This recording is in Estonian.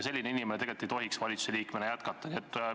Selline inimene tegelikult ei tohiks valitsuse liikmena jätkata.